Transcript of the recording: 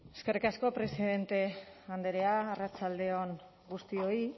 eskerrik asko presidente andrea arratsalde on guztioi